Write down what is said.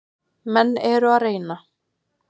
Menn eru að reyna.